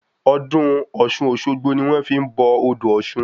Ọdún ọ̀ṣun-òṣogbo ni wọn fi n bọ odò ọ̀ṣun